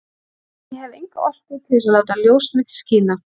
En ég hef enga orku til þess að láta ljós mitt skína.